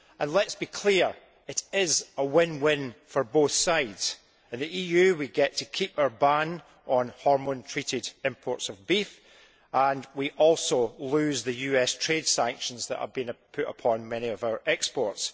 Let us be clear it is a win win for both sides. In the EU we get to keep our ban on hormone treated imports of beef and we also lose the US trade sanctions that have been put upon many of our exports.